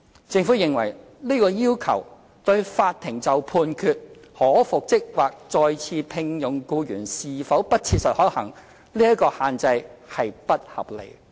政府認為，這個要求會限制法庭判決如僱主將僱員復職或再次聘用僱員是否不切實可行，這項限制並不合理。